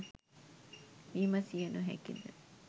විමසිය නොහැකිද